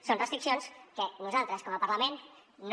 són restriccions que nosaltres com a parlament no